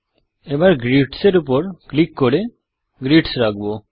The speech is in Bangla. Grids এর উপর ক্লিক করে গ্রিডস রাখব